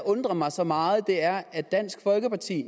undrer mig så meget er at når dansk folkeparti